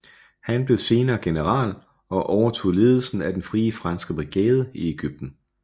Han blev senere general og overtog ledelsen af den Frie Franske brigade i Ægypten